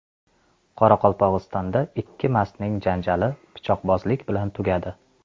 Qoraqalpog‘istonda ikki mastning janjali pichoqbozlik bilan tugadi.